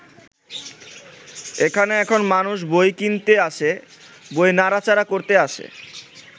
এখানে এখন মানুষ বই কিনতে আসে, বই নাড়া-চাড়া করতে আসে।